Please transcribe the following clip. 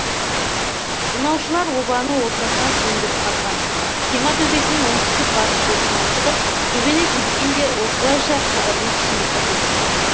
тонаушылар обаны ортасынан үңгіп қазған қима төбесінің оңтүстік батыс бұрышынан шығып төбені тескен де осылайша қабірдің ішіне кірген